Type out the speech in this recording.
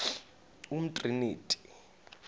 umtriniti